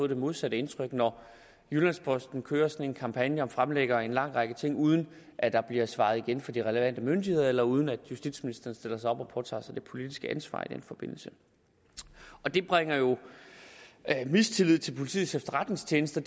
det modsatte indtryk når jyllands posten kører en sådan kampagne og fremlægger en lang række ting uden at der bliver svaret igen fra de relevante myndigheder eller uden at justitsministeren stiller sig op og påtager sig det politiske ansvar i den forbindelse det bringer jo mistillid til politiets efterretningstjeneste